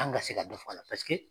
An ka se ka dɔ fɔ a la